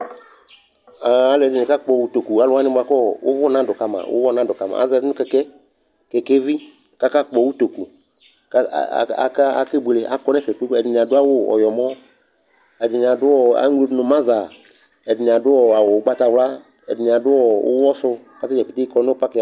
Ɛ alʋɛdɩnɩ kakpɔ utoku Alʋ wanɩ bʋa kʋ ɔ ʋvʋ nadʋ ka ma ʋɣɔ nadʋ ka ma Aza nʋ kɛkɛ, kɛkɛvi kʋ akakpɔ utoku kʋ a a aka akebuele Akɔ nʋ ɛfɛ, ɛdɩnɩ adʋ awʋ ɔyɔmɔ, ɛdɩnɩ adʋ ɔ eŋlo dʋ nʋ mazda, ɛdɩnɩ adʋ awʋ ʋgbatawla Ɛdɩnɩ adʋ ɔ ʋɣɔsʋ kʋ ata dza pete kɔ nʋ pakɩ ava